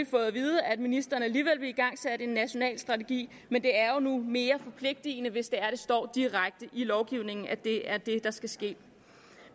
fået at vide at ministeren alligevel vil igangsætte en national strategi men det er nu engang mere forpligtende hvis det står direkte i lovgivningen at det er det der skal ske